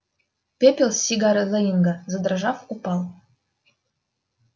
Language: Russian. пепел с сигары лэннинга задрожав упал